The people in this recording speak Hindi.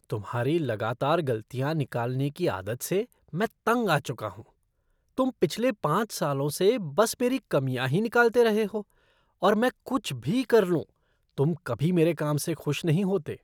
तुम्हारी लगातार गलतियाँ निकालने की आदत से मैं तंग आ चुका हूँ, तुम पिछले पाँच सालों से बस मेरी कमियां ही निकालते रहे हो और मैं कुछ भी कर लूं, तुम कभी मेरे काम से खुश नहीं होते।